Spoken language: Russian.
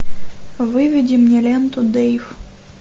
выведи мне ленту дейв